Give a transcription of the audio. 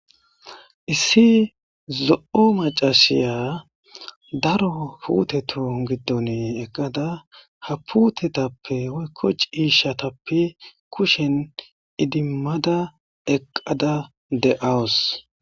Issi zo7o macashiya daro pute toon giddone eqqada ha putetappe woykko ciishatappe kushen idimmada eqqada de7awus.